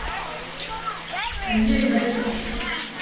En ég naut þess.